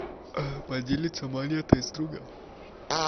поделиться монетой с другом